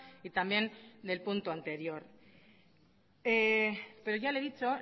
y también del punto anterior pero ya le he dicho